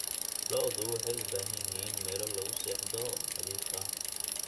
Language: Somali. Lo'du waxay u baahan yihiin meelo lagu seexdo oo nadiif ah.